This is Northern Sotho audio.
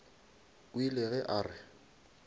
o ile ge a re